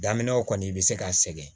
Daminɛw kɔni i bɛ se ka sɛgɛn